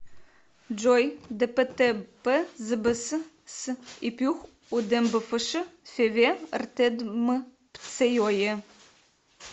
джой дптпзбс с ипюх удембфш феве ртедмпцеойе